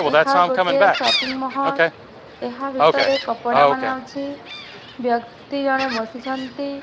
ଏହା ଗୋଟେ ସପିଙ୍ଗ ମହଲ ଏହା ଭିତରେ କପଡା ମାନେ ଅଛି ବ୍ୟକ୍ତି ଜଣେ ବସିଛନ୍ତି।